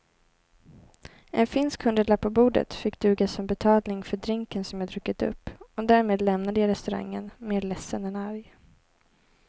En finsk hundralapp på bordet fick duga som betalning för drinken som jag druckit upp och därmed lämnade jag restaurangen mer ledsen än arg.